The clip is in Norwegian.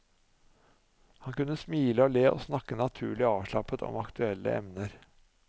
Han kunne smile og le og snakke naturlig og avslappet om aktuelle emner.